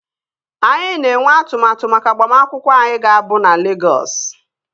Anyị na-enwe atụmatụ maka agbamakwụkwọ anyị ga-abụ na Legọs